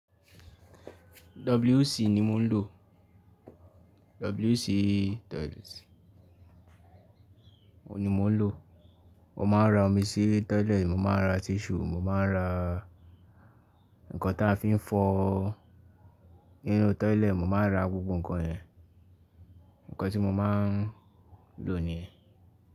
WC ni mò ń lò, WC toilet, òun ni mò ń lò. Wọn máa ń ra omi sí toilet, mo máa ń ra tissue, mo máa ń ra nǹkan táa fi ń fọ nínú toilet, mo máa ń ra gbogbo ǹkan yẹn, nǹkan tí mo máa ń lò nìyẹn.